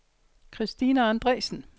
Kristina Andresen